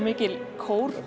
mikil